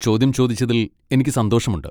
ചോദ്യം ചോദിച്ചതിൽ എനിക്ക് സന്തോഷമുണ്ട്.